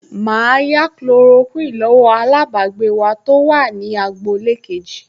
Màá yá Kulorokíìnì lọ́wọ́ alájọbágbé wa tó wà ní agboolé kejì